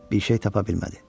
Bir şey tapa bilmədi.